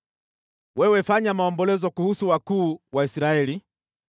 “Wewe fanya maombolezo kuhusu wakuu wa Israeli